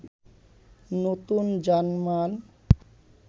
নতুন জার্মান